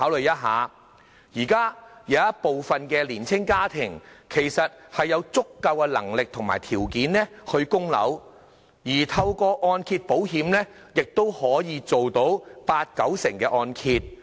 現時有部分年青家庭其實有足夠的能力和條件供樓，而透過按揭保險亦可以承造八九成按揭。